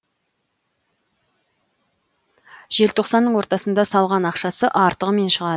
желтоқсанның ортасында салған ақшасы артығымен шығады